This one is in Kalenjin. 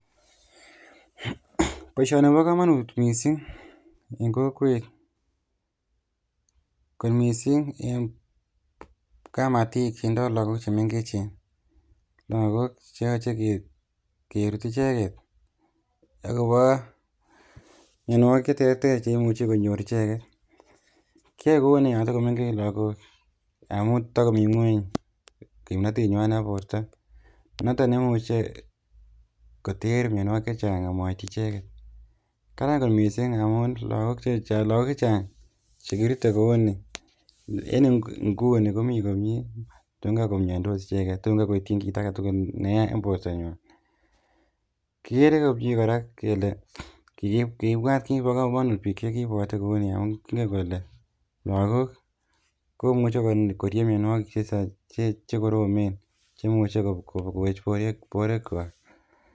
Boishoni kobokomonut mising en kokwet kot mising en kamatik chetindo lokok chemeng'echen, lakok cheyoche kerut icheket akobo mionwokik cheterter cheimuche konyor icheket, kiyoe kouni yon tokomeng'ech lokok amun takomi ng'weny kimnotenywan nebo borto, noton neimuche koter mionwokik chechang amoityi icheket, Karan kot mising amun lakok chechang chekirute kouni en inguni komi komie akomokomiondos icheket tun kakoityi kit aketukul neya en bortanywan, kikere komie korak kele kibwat kiit nebo komonut biik chekibwote kouni akoking'en kole lokok komuche korieb mionywokik chekoromen cheimuche kowech borwekwak.